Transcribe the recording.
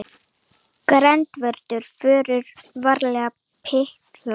GVENDUR: Förum varlega, piltar!